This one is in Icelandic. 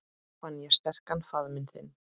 Fann ég sterkan faðminn þinn.